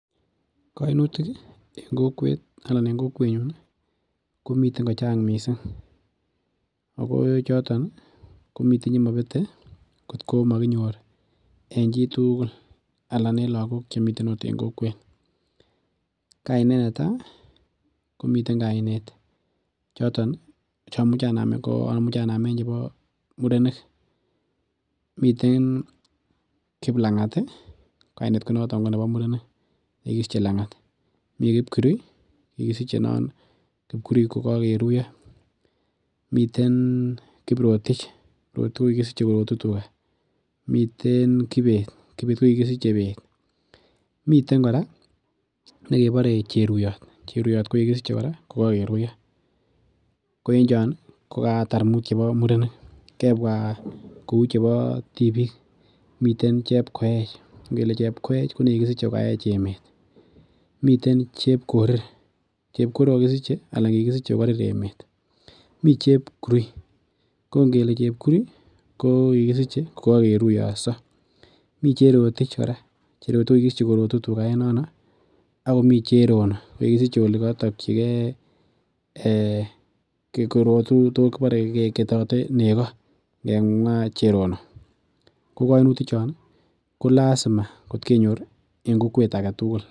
Koinutik ih en kokwet anan en kokwetnyun ih komiten ko chang missing ako choton komiten chemobete koktko mokinyor en chitugul ana en lakok chemiten ot en kokwet. Kainet netaa komiten kainet choton ih chomuche anamen ko amuche anamen choton chebo murenik miten Kiplang'at ih kainet konoton nebo murenik nekikisiche lang'at, mii Kipkirui ih kikisiche non Kipkirui kokokeruiyo, miten Kiprotich, Kiprotich kokisiche korotu tuga, miten Kibet, Kibet ko kikisiche beet. Miten kora nekebore Cheruiyot, Cheruiyot ko kikisiche kora kokokeruiyo ko en chon ih ko katar muut chebo murenik, kebwa kou chebo tibiik miten Chepkoech ngele Chepkoech ko ne kikisiche kokaech emet, miten Chepkorir, Chepkorir kokokisiche ana kikisiche kokorir emet, mii Chepkurui ko ngele Chepkurui ko kikisiche kokokeruiyoso, mii Cherotich kora, Cherotich kokisiche korotu tuga en nono akomii Cherono nekikisiche olikotoktyigee korotu to kibore keketote nego en Cherono. Ko koinutik chon ih ko lazima kot kenyor ih en kokwet aketugul